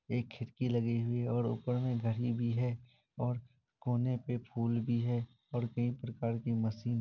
एक खिड़की लगी हुई है और ऊपर में घड़ी भी है। और कोने पे फूल भी है और कई प्रकार की मशीन ---